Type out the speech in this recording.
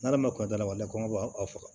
N'ala ma kunda kɔngɔ b'a faga